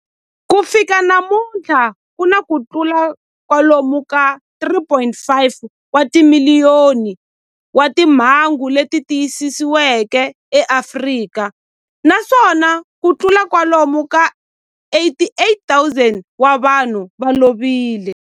Ku fika namuntlha ku na kutlula kwalomu ka 3.5 wa timiliyoni wa timhangu leti tiyisisiweke eAfrika, naswona kutlula kwalomu ka 88,000 wa vanhu va lovile.